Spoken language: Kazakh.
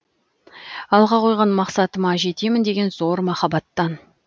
алға қойған мақсатыма жетемін деген зор махаббаттан